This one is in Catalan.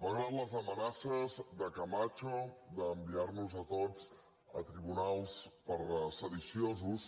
malgrat les amenaces de camacho d’enviarnos a tots a tribunals per sediciosos